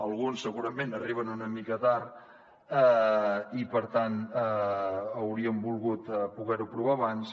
alguns segurament arriben una mica tard i per tant hauríem volgut poder ho aprovar abans